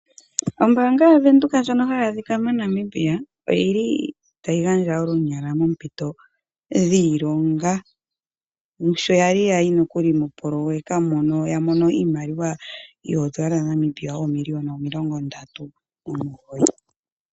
Ombaanga yaVenduka ndjono hayi adhika moNamibia oyi li tayi gandja olunyala moompito dhiilonga. Sho ya li ya yi nokuli mopoloyeka mono ya mono iimaliwa yoodola dhaNamibia oomiliyona omilongondatu nomugoyi.